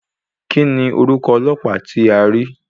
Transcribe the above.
Kíni orúkọ ọlọ́pàá tí a rí?